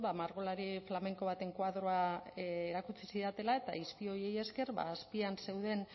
margolari flamenko baten koadroa erakutsi zidatela eta izpi horiei esker azpian zeuden